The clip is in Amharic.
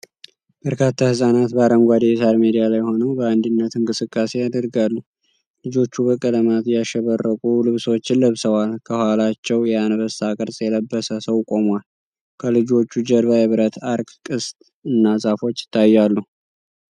በርካታ ህፃናት በአረንጓዴ የሳር ሜዳ ላይ ሆነው በአንድነት እንቅስቃሴ ያደርጋሉ። ልጆቹ በቀለማት ያሸበረቁ ልብሶችን ለብሰዋል፤ ከኋላቸው የአንበሳ ቅርጽ የለበሰ ሰው ቆሟል። ከልጆቹ ጀርባ የብረት አርክ (ቅስት) እና ዛፎች ይታያሉ።